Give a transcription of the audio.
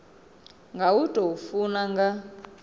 nga u tou funa nga